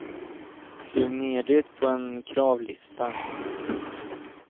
Skriv ner det på en kravlista.